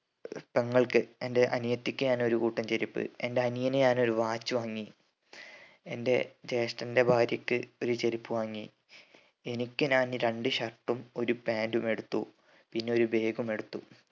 പെങ്ങൾക് എന്റെ അനിയത്തിക്ക് ഞാൻ ഒരു കൂട്ടം ചെരുപ്പ് എന്റെ അനിയന് ഞാൻ ഒരു watch വാങ്ങി എന്റെ ജേഷ്ടന്റെ ഭാര്യക്ക് ഒരു ചെരുപ്പ് വാങ്ങി എനിക്ക് ഞാൻ രണ്ട് shirt ഉം ഒരു pant ഉം എടുത്തു പിന്നെ ഒരു bag ഉം എടുത്തു